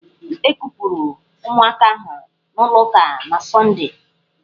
E kupụrụ ụmụaka ahụ n'ụlọ ụka na Sọndee.